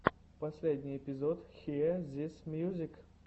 последний эпизод хиэ зис мьюзик